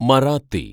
Marathi